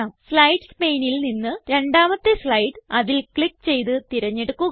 slides paneൽ നിന്ന് രണ്ടാമത്തെ സ്ലൈഡ് അതിൽ ക്ലിക്ക് ചെയ്ത് തിരഞ്ഞെടുക്കുക